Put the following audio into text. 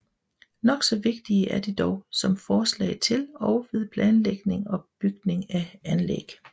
Nok så vigtige er de dog som forslag til og ved planlægning og bygning af anlæg